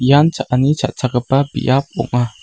ian cha·ani cha·chakgipa biap ong·a.